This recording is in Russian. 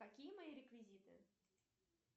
какие мои реквизиты